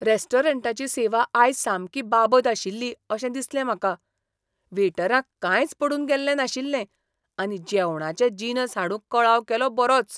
रेस्टॉरंटाची सेवा आयज सामकी बाबत आशिल्ली अशें दिसलें म्हाका. वेटरांक कांयच पडून गेल्लें नाशिल्लें आनी जेवणाचे जिनस हाडूंक कळाव केलो बरोच.